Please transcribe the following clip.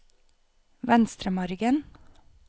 Venstremargen